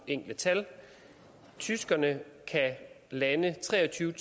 enkelte tal tyskerne kan lande tre og tyve